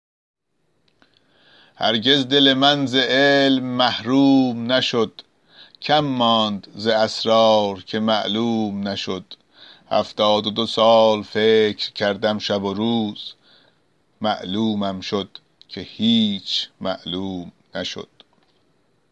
هرگز دل من ز علم محروم نشد کم ماند ز اسرار که معلوم نشد هفتاد و دو سال فکر کردم شب و روز معلومم شد که هیچ معلوم نشد